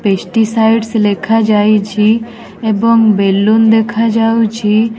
Pesticides ଲେଖା ଯାଇଛି ଏବଂ ବେଲୁନ୍ ଦେଖାଯାଉଛି।